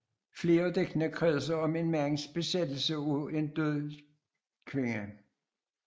Flere af digtene kredser om en mands besættelse af en død kvinde